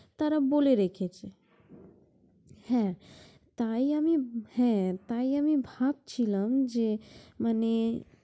তারা বলে রেখেছে, হ্যাঁ তাই আমি, হ্যাঁ তাই আমি ভাবছিলাম যে মানে